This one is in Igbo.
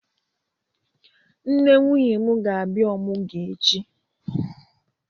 Nne nwunye m ga-abịa ọmụgwọ echi.